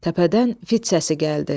Təpədən fit səsi gəldi.